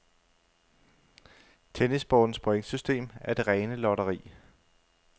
Tennissportens pointsystem er det rene lotteri.